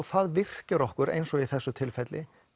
það virkjar okkur eins og í þessu tilfelli